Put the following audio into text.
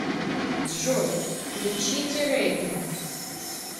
джой включите регги